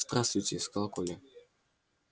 здравствуйте сказал коля